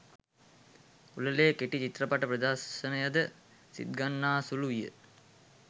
උළෙලේ කෙටි චිත්‍රපට ප්‍රදර්ශනයද සිත්ගන්නාසුළු විය